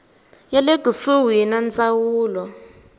ya le kusuhi ya ndzawulo